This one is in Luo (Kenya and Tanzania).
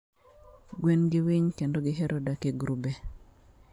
gwen gi winy kendo gihero dak e grube.